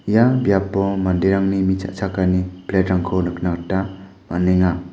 ia biapo manderangni mi cha·chakani plate-rangko nikna gita man·enga.